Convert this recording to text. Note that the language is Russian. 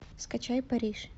скачай париж